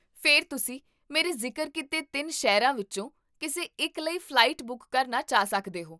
ਫਿਰ ਤੁਸੀਂ ਮੇਰੇ ਜ਼ਿਕਰ ਕੀਤੇ ਤਿੰਨ ਸ਼ਹਿਰਾਂ ਵਿੱਚੋਂ ਕਿਸੇ ਇੱਕ ਲਈ ਫ਼ਲਾਈਟ ਬੁੱਕ ਕਰਨਾ ਚਾਹ ਸਕਦੇ ਹੋ